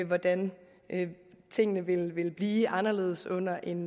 hvordan tingene vil vil blive anderledes under en